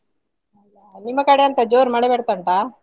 ನಿಮ್ಮ ಕಡೆ ಎಂತ ಜೋರ್ ಮಳೆ ಬರ್ತಾ ಉಂಟಾ?